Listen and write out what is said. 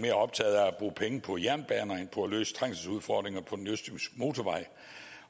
mere optaget af at bruge penge på jernbaner end på at løse trængselsudfordringer på den østjyske motorvej